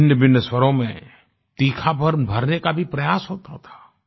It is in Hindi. भिन्नभिन्न स्वरों में तीखापन भरने का भी प्रयास होता था